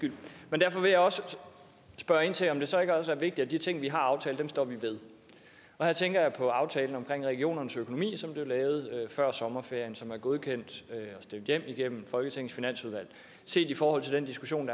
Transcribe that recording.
derfor vil jeg også spørge ind til om det så ikke også er vigtigt at de ting vi har aftalt her tænker jeg på aftalen om regionernes økonomi som blev lavet før sommerferien og som er godkendt og stemt hjem igennem folketingets finansudvalg set i forhold til den diskussion